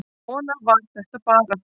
Svona var þetta bara.